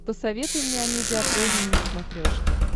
посоветуй мне амедиа премиум на смотрешке